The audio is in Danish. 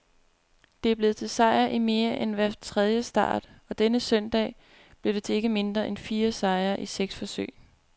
Det er blevet til sejr i mere end hver tredje start, og denne søndag blev det til ikke mindre end fire sejre i seks forsøg.